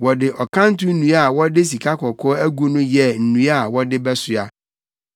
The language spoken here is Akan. Wɔde ɔkanto nnua a wɔde sikakɔkɔɔ agu ho yɛɛ nnua a wɔde bɛsoa.